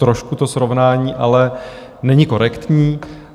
Trošku to srovnání ale není korektní.